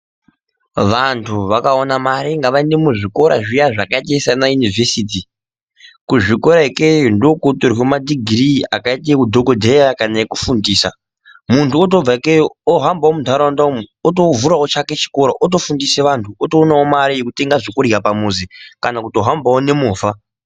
Vantu vakawane mari ngavainde muzvikora zviye zvakaite sana Univhesiti. Kuzvikora ikeyo ndiko kunotorwe madhigiri akaite ehudhokodheya kana okufundisa. Muntu otobve ikeyo ohamba muntaraunda umu otovhurawo chake chikora otofundise vantu otowanawo mari yokutenga zvokudya pamuzi kana kuto hambawo nemhovha.